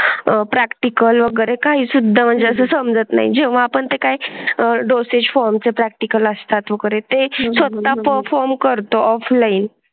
Practical वगैरे काही सुद्धा म्हणजे असं समजत नाही जेव्हा पण ते काय? डोसेज फॉर्म चे प्रॅक्टिकल असतात वगैरे ते फक्त परफॉर्म करतो ऑफलाइन.